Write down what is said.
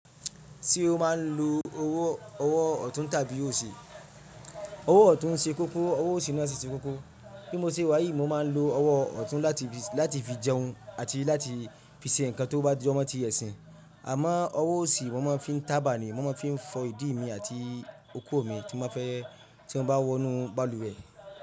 Ṣé o máa ń lo owó ọ̀tún tàbí òsì? Owó ọ̀tún ń ṣe kókó, owó òsì náà sì ṣe kókó. Bí mo ṣe wáyìí, mo máa ń lo owó ọ̀tún láti fi jẹun àti láti fi ṣe nǹkan tó bá jọmọ́ mi ti ẹ̀sìn. Àmọ́ owó òsì mo máa ń fi ń tábà ni, mo ma ń fi fọ ìdí mi àti okó mi tí mo bá fẹ́ tí mo bá wọnú balùwẹ̀.